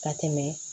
Ka tɛmɛ